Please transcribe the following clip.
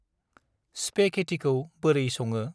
स्पेघेतिखौ बोरै सङो?